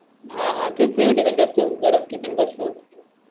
हा हा थेस थे ठिकाणी जास्त गरम ठिकाणी बसल्यावर.